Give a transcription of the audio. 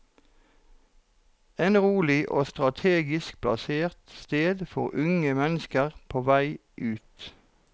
Et rolig og strategisk plassert sted for unge mennesker på vei ut.